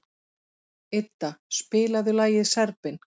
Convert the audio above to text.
Idda, spilaðu lagið „Serbinn“.